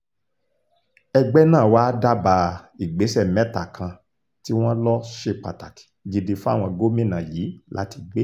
ẹgbẹ́ náà wàá dábàá ìgbésẹ̀ mẹ́ta kan tí wọ́n lọ ṣe pàtàkì gidi fáwọn gómìnà yìí láti gbé